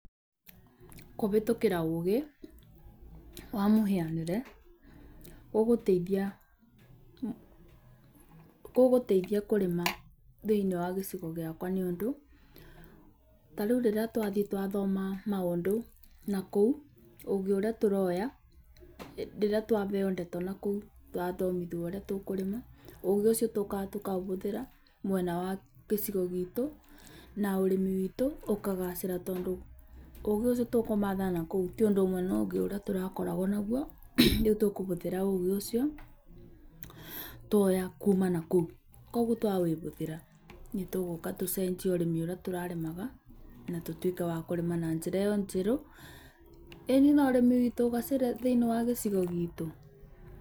Kũhĩtũkĩra ũgĩ wa mũhianĩre ũgũteithia, ũgũteithia thĩiniĩ wagĩcigo gĩakwa nĩũndũ, tarĩu rĩrĩa twathiĩ twathoma maũndũ nakũu, ũgĩ ũrĩa twaheo rĩrĩa twaheo ndeto nakũu twathomithio ũrĩa tũkũrĩma. ũgĩũcio tũkaga tũkaũhũthĩra mwena wa gĩcigo gitũ na ũrĩmi witũ ũkagacĩra tondũ ũgĩ ũcio tũkũmatha nakũu, tiũndũ ũmwe na ũgĩ ũrĩa tũrakoragwo nagwo. Rĩu tũkũhũthĩra ũgĩ ũcio tuoya kuma nakũu. Kuogwo twaũhũthĩra nĩtũgũka tũcenjie ũrĩmi ũrĩa tũrarĩmaga natũtuĩke akũrĩma na njĩra ĩo njerũ. ĩni nũrĩmi witũ ũgacĩre thĩiniĩ wa gĩcigo gitũ.